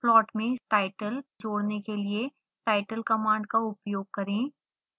plot में title जोड़ने के लिए title command का उपयोग करें